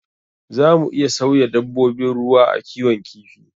Za mu iya sauya dabbobin ruwa a kiwon kifi.